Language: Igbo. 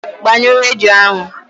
Gbaa ṅụọ redio ahụ!